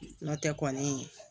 N'o tɛ kɔni